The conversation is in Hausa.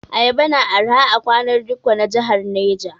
Ayaba na arha a kwanar dikko na jahar Neja.